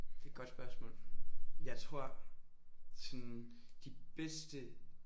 Det er et godt spørgsmål. Jeg tror sådan de bedste